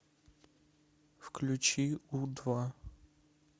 включи у два